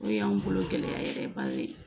O y'an bolo gɛlɛya yɛrɛ ba ye.